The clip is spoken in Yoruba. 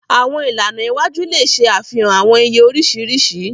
Àwọn ìlànà iwájú le ṣe àfihàn awọn iye oriṣiriṣi.